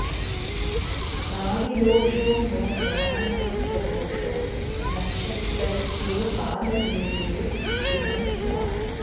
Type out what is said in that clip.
नाडीदोषो नो गणानां च दोषो नक्षत्रैक्ये पादभेदे शुभं स्यात्